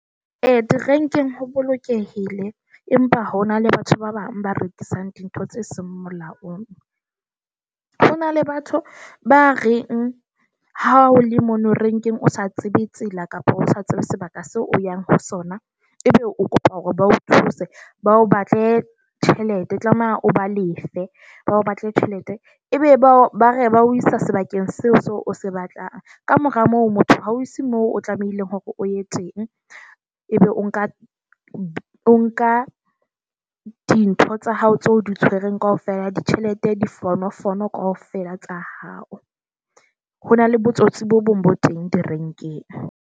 E di-rank-eng ho bolokehile, empa ho na le batho ba bang ba rekisang dintho tse seng molaong. Ho na le batho ba reng ha o le mono renkeng, o sa tsebe tsela, kapa o sa tsebe sebaka seo o yang ho sona, ebe o kopa hore ba o thuse. Ba o batle tjhelete tlameha o ba lefe. Ba o batle tjhelete, e be ba ba re ba o isa sebakeng seo so o se batlang. Kamora moo motho, ha o se mo o tlamehileng hore o e teng, ebe o nka nka dintho tsa hao tso di tshwereng kaofela. Ditjhelete, difonofono kaofela tsa hao. Ho na le botsotsi bo bong bo teng di-rank-eng.